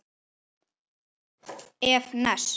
ef. ness